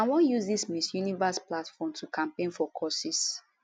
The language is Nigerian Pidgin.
i wan use di miss universe platform to campaign for courses